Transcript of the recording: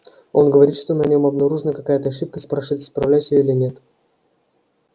он говорит что на нем обнаружена какая-то ошибка и спрашивает исправлять её или нет